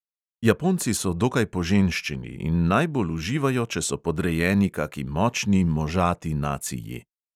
Japonci so dokaj poženščeni in najbolj uživajo, če so podrejeni kaki močni, možati naciji.